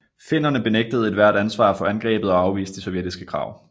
Finnerne benægtede ethvert ansvar for angrebet og afviste de sovjetiske krav